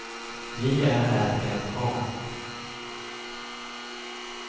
J Ä R N A